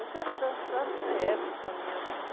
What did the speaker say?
Eu quero dançar a minha época, a minha vida.